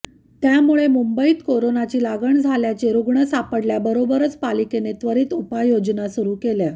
त्यामुळे मुंबईत करोनाची लागण झाल्याचे रुग्ण सापडल्याबरोबरच पालिकेने त्वरित उपाययोजना सुरू केल्या